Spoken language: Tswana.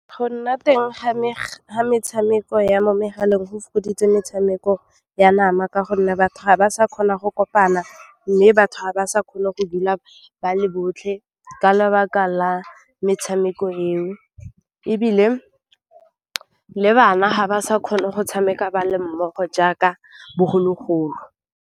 Go nna teng ga metshameko ya mo megaleng go fokoditse metshameko ya nama ka gonne batho ga ba sa kgona go kopana, mme batho ga ba sa kgone go dula ba le botlhe ka lebaka la metshameko eo ebile le bana ga ba sa kgone go tshameka ba le mmogo jaaka bogologolo.